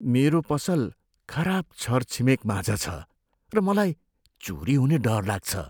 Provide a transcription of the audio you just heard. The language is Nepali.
मेरो पसल खराब छरछिमेकमाझ छ र मलाई चोरी हुने डर लाग्छ।